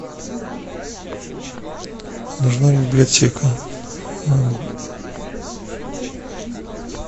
нужна библиотека